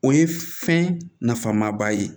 O ye fɛn nafa maba ye